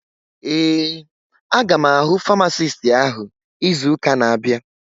Ee, aga m ahụ famasisti áhụ̀ izu ụka na-abịa